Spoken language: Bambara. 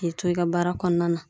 K'e to e ka baara kɔnɔna na